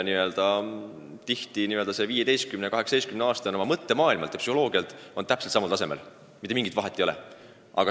Tihti on 15- ja 18-aastane oma mõttemaailmalt ja psühholoogiliselt arengult samal tasemel, mitte mingit vahet ei ole.